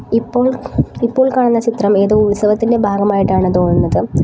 ഇപ്പോൾ ഇപ്പോൾ കാണുന്ന ചിത്രം ഏതോ ഉത്സവത്തിന്റെ ഭാഗമായിട്ടാണ് തോന്നുന്നത്.